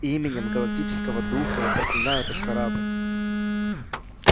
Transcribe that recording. именем галактического духа я проклинаю этот корабль